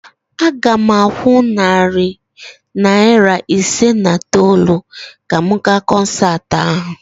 Aga m akwụ narị naira isii na itoolu ka m gaa kọnsaatị ahụ